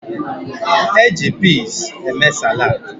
E ji piz eme saladị.